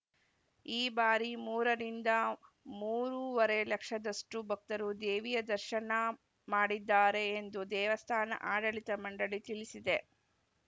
ಈ ಬಾರಿ ಮೂರು ರಿಂದ ಮೂರು ವರೇ ಲಕ್ಷದಷ್ಟುಭಕ್ತರು ದೇವಿಯ ದರ್ಶನ ಮಾಡಿದ್ದಾರೆ ಎಂದು ದೇವಸ್ಥಾನ ಆಡಳಿತ ಮಂಡಳಿ ತಿಳಿಸಿದೆ